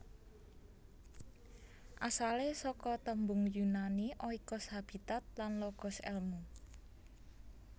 Asalé saka tembung Yunani oikos habitat lan logos èlmu